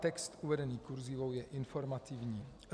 Text uvedený kurzívou je informativní.